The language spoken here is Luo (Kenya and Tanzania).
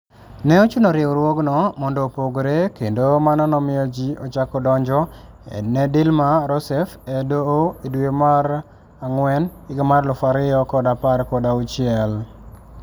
Ne ochuno riwruogno mondo opogre, kendo mano nomiyo ji ochako donjo ne Dilma Rousseff e Doho e dwe mar dwe mara ngwen 2016.